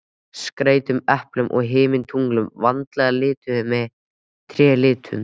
Skreyttum eplum og himintunglum, vandlega lituðum með trélitum.